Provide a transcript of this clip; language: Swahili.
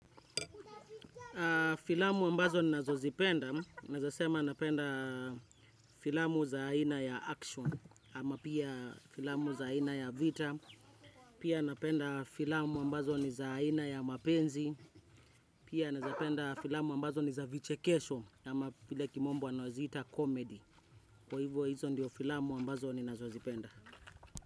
Filamu ambazo ni nazozipenda, naweza sema napenda filamu za aina ya action ama pia filamu za aina ya vita, pia napenda filamu ambazo ni za aina ya mapenzi, pia nazapenda filamu ambazo ni za vichekesho, ama vile kimombo wanawaziita komedi, kwa hivyo hizo ndiyo filamu ambazo ni nazozipenda.